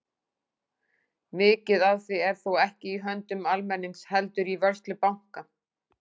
Mikið af því er þó ekki í höndum almennings heldur í vörslu banka.